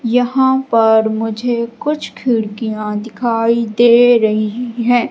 यहां पर मुझे कुछ खिड़कियां दिखाई दे रही हैं।